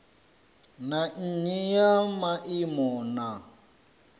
na nnyi ya maimo na